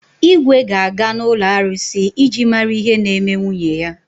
Igwe ga-aga n’ụlọ arụsị iji mara ihe na-eme nwunye ya.